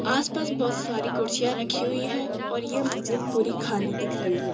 आसपास बहुत सारी कुर्सियां रखी हुई है और ये मस्जिद पूरी खाली दिख रही है।